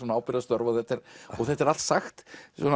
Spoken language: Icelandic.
ábyrgðarstörf og þetta er þetta er allt sagt